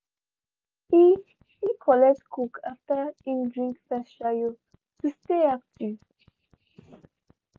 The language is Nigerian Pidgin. he he collect coke after him drink first shayo to stay active.